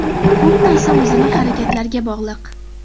Ko‘p narsa o‘zining harakatlariga bog‘liq.